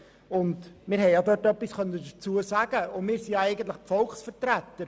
Dort haben wir etwas dazu sagen können, und wir sind eigentlich die Volksvertreter.